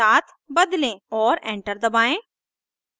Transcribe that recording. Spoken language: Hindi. और enter दबाएं